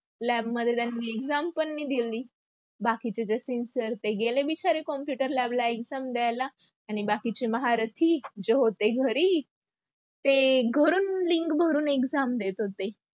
lab मध्ये त्यांनी exam पण नाही दिली. बाकीचे जे sincere ते गेले बिचारे computer lab ला exam द्यायला. आणी बाकीचे महारथी, जे होते घरी, ते घरून link भरून exam देत होते.